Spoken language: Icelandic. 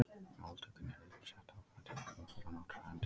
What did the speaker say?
Máltökunni eru einnig sett ákveðin tímamörk frá náttúrunnar hendi.